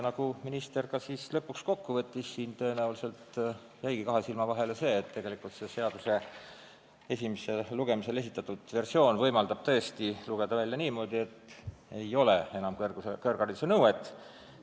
Nagu minister lõpuks kokku võttis, tõenäoliselt jäigi kahe silma vahele, et selle seaduse esimesele lugemisele esitatud versioon võimaldab tõesti lugeda välja niimoodi, et riigisekretäril ei hakka justkui olema kõrghariduse nõuet.